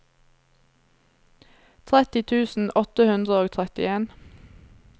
tretti tusen åtte hundre og trettien